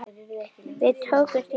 Við tökumst í hendur.